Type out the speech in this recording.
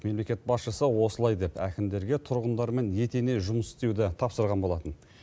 мемлекет басшысы осылай деп әкімдерге тұрғындармен етене жұмыс істеуді тапсырған болатын